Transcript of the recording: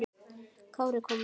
Kári kom mjög vel inn.